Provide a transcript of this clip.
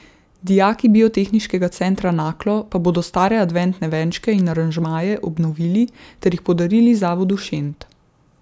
Dijaki Biotehniškega centra Naklo pa bodo stare adventne venčke in aranžmaje obnovili ter jih podarili zavodu Šent.